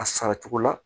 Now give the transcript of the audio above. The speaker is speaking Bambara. A sara cogo la